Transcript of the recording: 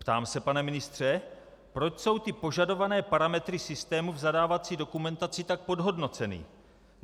Ptám se, pane ministře, proč jsou ty požadované parametry systému v zadávací dokumentaci tak podhodnoceny?